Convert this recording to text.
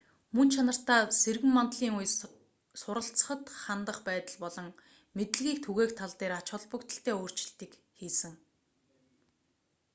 мөн чанартаа сэргэн мандлын үе суралцахад хандах байдал болон мэдлэгийг түгээх тал дээр ач холбогдолтой өөрчлөлтийг хийсэн